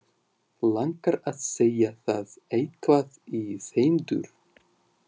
Langar að segja það, eitthvað í þeim dúr.